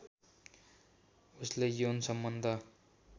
उसले यौन सम्बन्ध